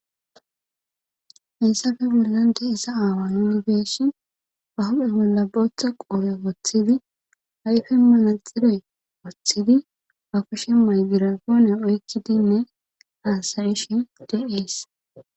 issafe bollan de isa aawa yunibeeshi ahuphe bolla bootha qoore woththidi hayfe malalxidey woththidi afushe maygirapoone oykkidinne haasayishi de ees